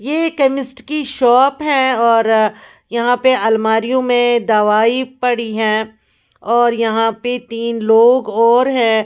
ये केमिस्ट की शॉप है और यहाँ पे अलमारियों में दवाई पड़ी है और यहाँ पे तीन लोग और हैं --